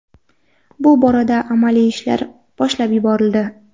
Bu borada amaliy ishlar boshlab yuborildi.